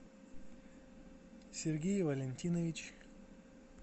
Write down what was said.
сергей валентинович